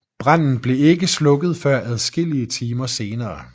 Branden blev ikke slukket før adskillige timer senere